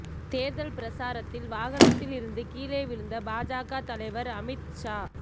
தேர்தல் பிரச்சாரத்தில் வாகனத்தில் இருந்து கீழே விழுந்த பாஜக தலைவர் அமித் ஷா